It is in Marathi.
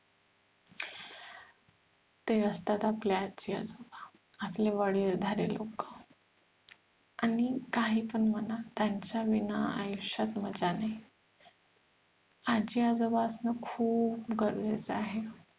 ते असतात आपले आजी आजोबा आपले वडीलधारे लोक आणि काहीपण म्हणा त्यांच्या विना आयुष्यात मज्जा नाही आजी आजोबा असणं खूप गरजेचं आहे